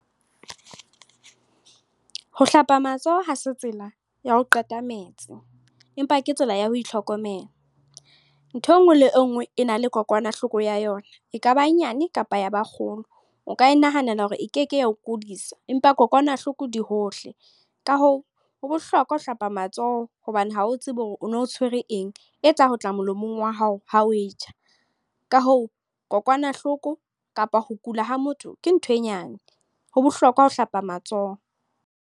Ho hlapa matsoho ha se tsela ya ho qeta metsi. Empa ke tsela ya ho itlhokomela. Ntho e nngwe le nngwe e na le kokwanahloko ya yona. Ekaba nyane kapa ya ba kgolo. O ka e nahanela hore e keke ya ho kodisa. Empa kokwanahloko di hohle. Ka hoo, ho bohlokwa ho hlapa matsoho, hobane ha o tsebe hore o no tshwere eng. E tla ho tla molomong wa hao ha o e ja. Ka hoo, kokwanahloko kapa ho kula ha motho ke ntho e nyane. Ho bohlokwa ho hlapa matsoho.